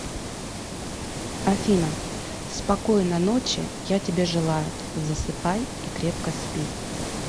афина спокойно ночи я тебе желаю засыпай и крепко спи